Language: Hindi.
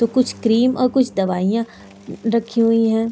कुछ क्रीम और कुछ दवाइयां रखी हुई हैं।